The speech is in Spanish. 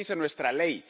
Eso dice nuestra ley.